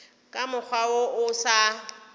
ka mokgwa wo o sa